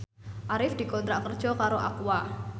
Arif dikontrak kerja karo Aqua